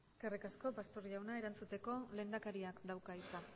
eskerrik asko pastor jauna erantzuteko lehendakariak dauka hitza